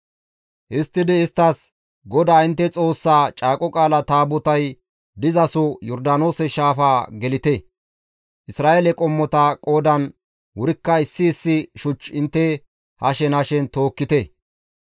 Histtidi isttas, «GODAA intte Xoossaa Caaqo Qaalaa Taabotay dizasoho Yordaanoose shaafaa gelite; Isra7eele qommota qoodan wurikka issi issi shuch intte hashen hashen tookkite.